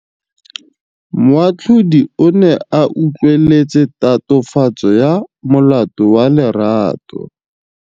Moatlhodi o ne a utlwelela tatofatsô ya molato wa Lerato.